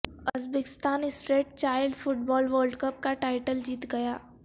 Uzbekistan street child football world cup کا title جیت گیا